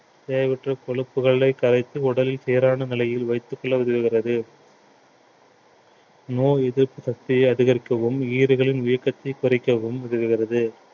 தேவையற்ற கொழுப்புகளை கரைத்து உடலில் சீரான நிலையில் வைத்துக் கொள்ள உதவுகிறது நோய் எதிர்ப்பு சக்தியை அதிகரிக்கவும் ஈறுகளின் வீக்கத்தை குறைக்கவும் உதவுகிறது